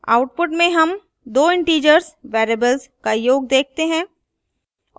output में sum दो integer variables का योग देखते हैं